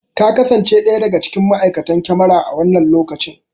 Ta kasance ɗaya daga cikin ma!aikatan kyamara a wannan lokacin